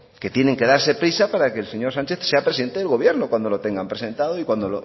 que tienen que darse prisa para que el señor sánchez sea presidente del gobierno cuando lo tengan presentado y cuando